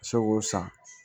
Se k'o san